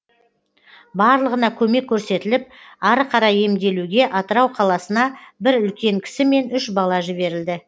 барлығына көмек көрсетіліп ары қарай емделуге атырау қаласына бір үлкен кісі мен үш бала жіберілді